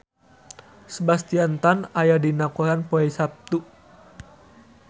Sebastian Stan aya dina koran poe Saptu